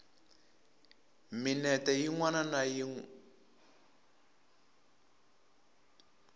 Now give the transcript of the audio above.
minete yin wana na yin